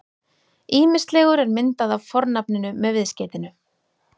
Ýmislegur er myndað af fornafninu með viðskeytinu-